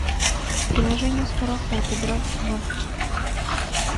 приложение скороход играть в